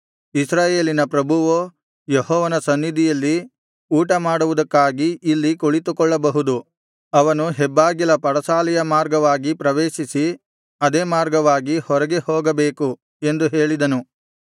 ಇಸ್ರಾಯೇಲಿನ ಪ್ರಭುವೋ ಯೆಹೋವನ ಸನ್ನಿಧಿಯಲ್ಲಿ ಊಟ ಮಾಡುವುದಕ್ಕಾಗಿ ಇಲ್ಲಿ ಕುಳಿತುಕೊಳ್ಳಬಹುದು ಅವನು ಹೆಬ್ಬಾಗಿಲ ಪಡಸಾಲೆಯ ಮಾರ್ಗವಾಗಿ ಪ್ರವೇಶಿಸಿ ಅದೇ ಮಾರ್ಗವಾಗಿ ಹೊರಗೆ ಹೋಗಬೇಕು ಎಂದು ಹೇಳಿದನು